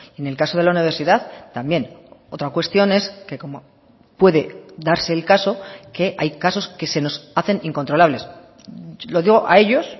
en el caso de la universidad también otra cuestión es que como puede darse el caso que hay casos que se nos hacen incontrolables lo digo a ellos